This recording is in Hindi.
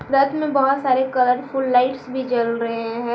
रथ में बहुत सारे कलरफुल लाइट्स भी जल रहे हैं।